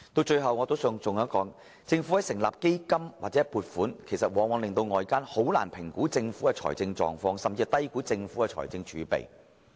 最後，我還想提出一點，政府成立基金或預留撥款往往令到外間難以評估其財政狀況，甚至低估其財政儲備。